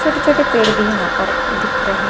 छोटे छोटे पेड़ भी यहां पर दिख रहे--